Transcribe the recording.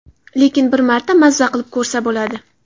Lekin bir marta maza qilib ko‘rsa bo‘ladi.